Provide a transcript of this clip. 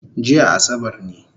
Jiya asabar ne